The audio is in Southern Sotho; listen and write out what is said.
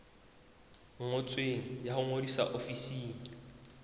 ngotsweng ya ho ngodisa ofising